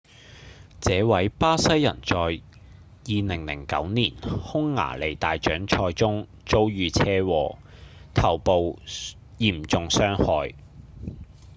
這位巴西人在2009年匈牙利大獎賽中遭遇車禍頭部嚴重傷害